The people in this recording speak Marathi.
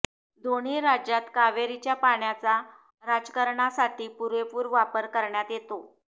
दोन्ही राज्यात कावेरीच्या पाण्याचा राजकारणासाठी पुरेपूर वापर करण्यात येतो